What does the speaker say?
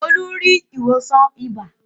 Olú rí ìwòsàn ibà.